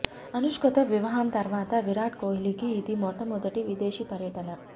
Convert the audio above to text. అనుష్కతో వివాహం తర్వాత విరాట్ కోహ్లికి ఇది మొట్టమొదటి విదేశీ పర్యటన